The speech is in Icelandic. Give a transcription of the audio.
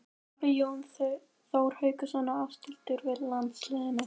Taka Jón Þór Hauksson og Ásthildur við landsliðinu?